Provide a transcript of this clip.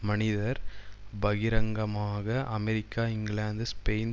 மனிதர் பகிரங்கமாக அமெரிக்க இங்கிலாந்து ஸ்பெயின்